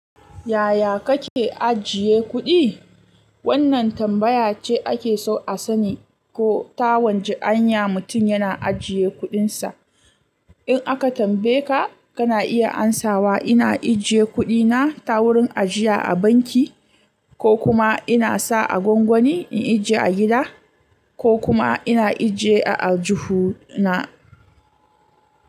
Yaya kake ajiye kuɗi? Wannan tambaya ce ake so a sani ko ta wacce hanya mutum yana ajiye kuɗinsa. In aka tambaye ka, kana iya amsawa ina ajiye kuɗi na ta wurin ajiya a banki, ko kuma ina sa a gwangwani in ajiye a gida, ko kuma ina ajiye a aljuhu na.